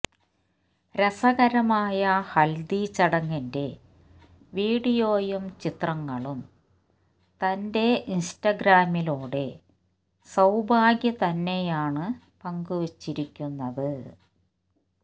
രസകരമായ ഹൽദി ചടങ്ങിന്റെ വീഡിയോയും ചിത്രങ്ങളും തന്റെ ഇൻസ്റ്റഗ്രാമിലൂടെ സൌഭാഗ്യ തന്നെയാണ് പങ്കു വെച്ചിരിക്കുന്നത്